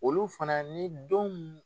Olu fana ni don min